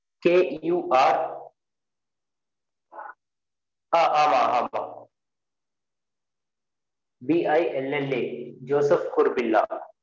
k u r ஆஹ் ஆமா ஆமா b i l l a